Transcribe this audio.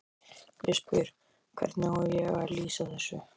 Ég spyr: Hvernig á ég að lýsa þessu?